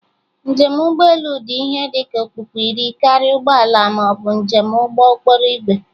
Njem ụgbọ elu dị ihe dị ka okpukpu iri karịa ụgbọ ala ma ọ bụ njem ụgbọ okporo ígwè